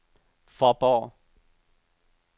Fåborg